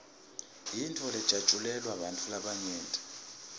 yintfo lejatjulelwa bantfu labanyenti